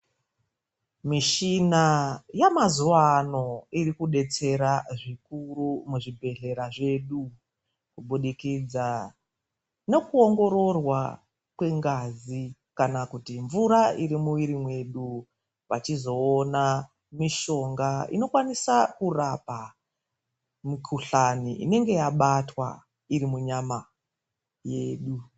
Mishina yamazuva ano iri kudetsera zvikuru muzvibhedhlera zvedu, kubudikidza nokuongororwa kwengazi kana kuti mvura iri muiri mwedu. Vachizoona mishonga inokwanisa kurapa mukuhlani inenge yabatwa iri munyama yedu.